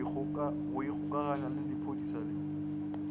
go ikgokaganya le lephodisa la